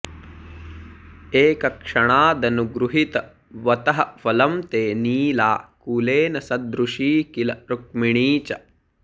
एकक्षणादनुगृहीतवतः फलं ते नीला कुलेन सदृशी किल रुक्मिणी च